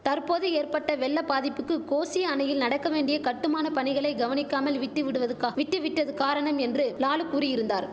தற்போது ஏற்பட்ட வெள்ள பாதிப்புக்கு கோசி அணையில் நடக்க வேண்டிய கட்டுமான பணிகளை கவனிக்காமல் விட்டுவிடுவதுக்கா விட்டு விட்டது காரணம் என்று லாலு கூறியிருந்தார்